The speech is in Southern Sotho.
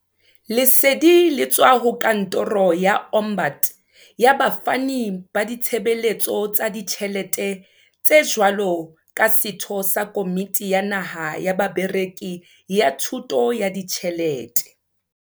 Lesedi le tswa ho Kantoro ya Ombud ya Bafani ba Ditshebeletso tsa Ditjhele te jwalo ka setho sa Komiti ya Naha ya Bareki ya Thu to ya Ditjhelete.